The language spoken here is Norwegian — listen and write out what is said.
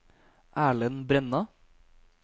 Erlend Brenna